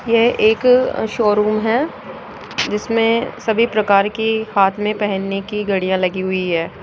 यह एक शोरूम है जिसमें सभी प्रकार की हाथ में पहनने की घड़ियां लगी हुई है।